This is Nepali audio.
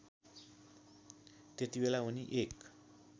त्यतिबेला उनी एक